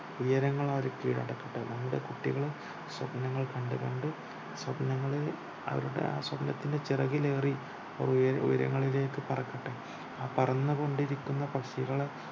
ഉയരങ്ങളവര് കീഴടക്കട്ടെ നമ്മുടെ കുട്ടികള് സ്വപ്‌നങ്ങൾ കണ്ടു കണ്ടു സ്വപ്നങ്ങളിൽ അവരുടെ ആ സ്വപ്നത്തിന്റെ ചിറകിലേറി ഉയരങ്ങളിലേക്ക് പറക്കട്ടെ ആ പറന്നുകൊണ്ടിരിക്കുന്ന പക്ഷികള്